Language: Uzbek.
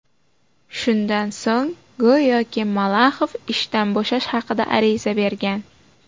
Shundan so‘ng go‘yoki, Malaxov ishdan bo‘shash haqida ariza bergan.